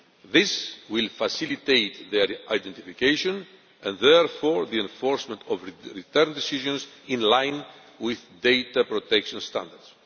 This will facilitate their identification and therefore the enforcement of return decisions in line with data protection standards.